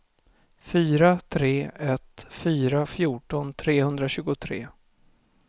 fyra tre ett fyra fjorton trehundratjugotre